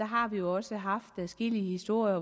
har vi jo også haft adskillige historier